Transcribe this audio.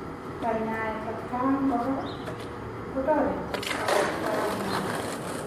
Kanyaaet atakaang koraa kotoreti ako taguui.